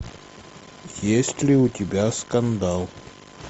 есть ли у тебя скандал